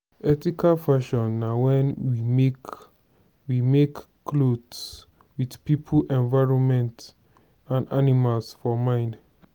ethical fashion na when we make we make cloth with pipo environment and animal for mind